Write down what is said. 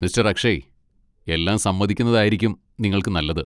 Mister Akshay, എല്ലാം സമ്മതിക്കുന്നതായിരിക്കും നിങ്ങൾക്ക് നല്ലത്.